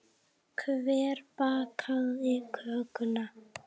Hver bakaði kökuna?